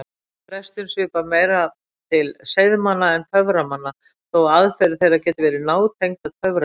Prestum svipar meir til seiðmanna en töframanna þó að aðferðir þeirra geti verið nátengdar töfrahyggju.